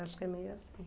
Acho que é meio assim.